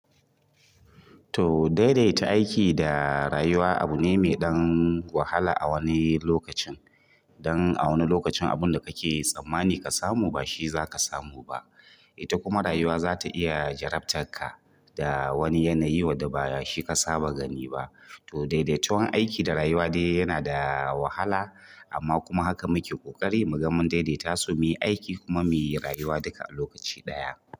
To daidaita aiki da rayuwa abu ne mai ɗan wahala a wani lokacin. Don a wani lokacin abun da kake tsammani ka samu ba shi za ka samu ba. Ita kuma rayuwa za ta iya jarabtar ka da wani yanayi wadda ba shi ka saba gani ba. To daidaituwan aiki da rayuwa dai yana da wahala amma kuma haka muke ƙoƙari mu ga mun daidaitasu mu yi aiki kuma mu yi rayuwa duka a lokaci ɗaya.